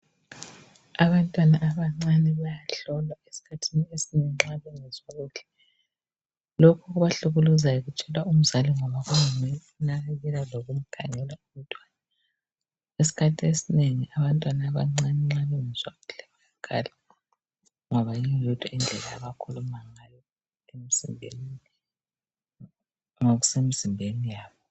Abantwana abancane bayahlolwa esikhathini esinengi nxa bengezwa kuhle. Lokhu okubahlukuluzayo. Kutshelwa umzali ngoba kunguye omnakekelayo. Lokumkhangela umntwana. Esikhathini esinengi nxa abantwana abancane, bengezwa kuhle. Bayakhala, ngoba yiyo yodwa indlela abakhuluma ngayo. Ngokusemzimbeni yabo.